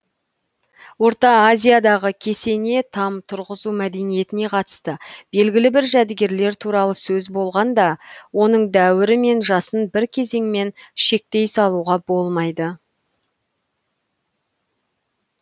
орта азиядағы кесене там тұрғызу мәдениетіне қатысты белгілі бір жәдігерлер туралы сөз болғанда оның дәуірі мен жасын бір кезеңмен шектей салуға болмайды